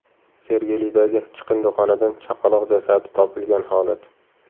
Sergelidagi chiqindixonadan chaqaloq jasadi topilgan holat.